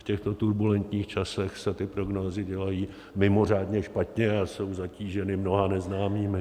V těchto turbulentních časech se ty prognózy dělají mimořádně špatně a jsou zatíženy mnoha neznámými.